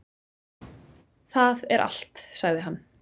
"""Það er allt, sagði hann."""